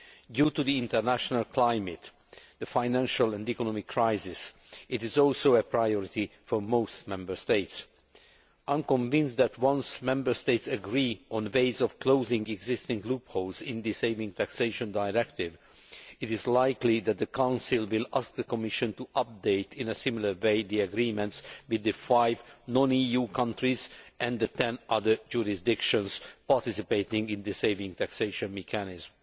Due to the international climate the financial and economic crisis it is also a priority for most Member States. I am convinced that, once Member States agree on ways of closing existing loopholes in the Savings Taxation Directive, it is likely that the Council will ask the Commission to update in a similar way the agreements with the five non EU countries and the 10 other jurisdictions participating in the savings taxation mechanism.